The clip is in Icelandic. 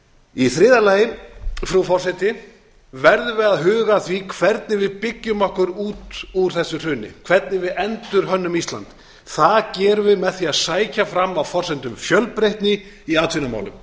í þriðja lagi frú forseti verðum við að huga að því hvernig við byggjum okkur út úr þessu hruni hvernig við endurhönnum ísland það gerum við með því að sækja fram á forsendum fjölbreytni í atvinnumálum